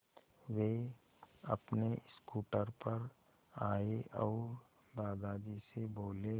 वे अपने स्कूटर पर आए और दादाजी से बोले